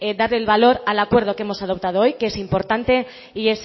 darle el valor al acuerdo que hemos adoptado hoy que es importante y